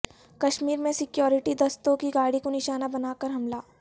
کشمیر میں سکیورٹی دستوں کی گاڑی کو نشانہ بناکر حملہ